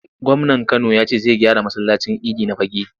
Gwamnan Kano ya ce zai gyara masallacin idi na Fagge.